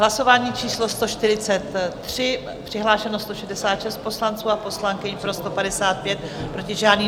Hlasování číslo 143, přihlášeno 166 poslanců a poslankyň, pro 155, proti žádný.